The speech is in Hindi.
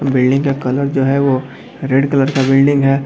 बिल्डिंग का कलर जो है वो रेड कलर का बिल्डिंग है।